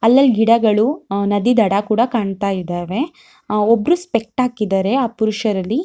ಅಲ್ಲಲ್ಲಿ ಗಿಡಗಳು ಅಹ್ ನದಿದಡ ಕೂಡ ಕಾಣತ್ತಾ ಇದಾವೆ. ಅಹ್ ಒಬ್ರು ಸ್ಪೆಕ್ಟ್ ಹಾಕಿದರೆ ಆ ಪುರುಷರಲ್ಲಿ.